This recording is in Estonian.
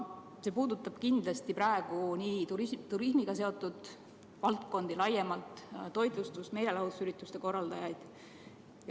See puudutab kindlasti praegu nii turismiga seotud valdkondi laiemalt kui ka toitlustust ja meelelahutusürituste korraldamist.